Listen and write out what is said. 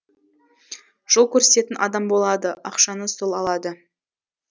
жол көрсететін адам болады ақшаны сол алады